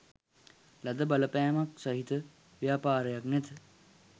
ලද බලපෑමක් සහිත ව්‍යාපාරයක් නැත.